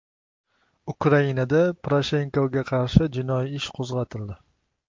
Ukrainada Poroshenkoga qarshi jinoiy ish qo‘zg‘atildi.